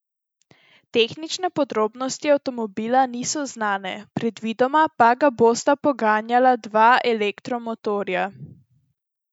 Tehnične podrobnosti avtomobila niso znane, predvidoma pa ga bosta poganjala dva elektromotorja.